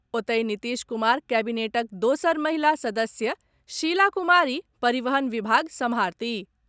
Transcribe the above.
ओतहि, नीतीश कुमार कैबिनेटक दोसर महिला सदस्य शीला कुमारी परिवहन विभाग सम्भारतीह।